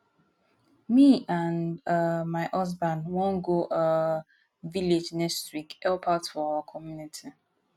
me and um my husband wan go um village next week help out for our community